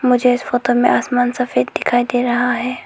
मुझे इस फोटो में आसमान सफेद दिखाई दे रहा है।